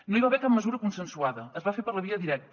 no hi va haver cap mesura consensuada es va fer per la via directa